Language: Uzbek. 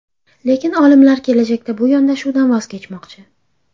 Lekin olimlar kelajakda bu yondashuvdan voz kechmoqchi.